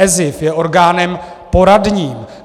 ESIF je orgánem poradním.